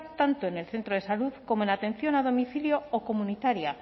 tanto en el centro de salud como en la atención a domicilio o comunitaria